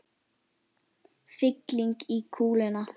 Fylling í kúluna.